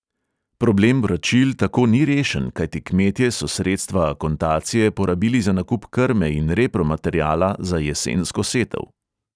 Problem vračil tako ni rešen, kajti kmetje so sredstva akontacije porabili za nakup krme in repromateriala za jesensko setev.